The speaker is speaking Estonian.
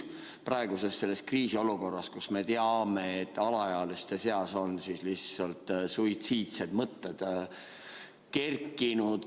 Praegu on kriisiolukord, kus me teame, et alaealiste seas on rohkem suitsiidseid mõtteid tekkinud.